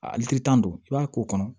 A likilita don i b'a k'o kɔnɔ